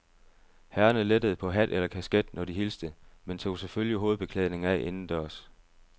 Herrerne lettede på hat eller kasket, når de hilste, men tog selvfølgelig hovedbeklædningen af indendørs.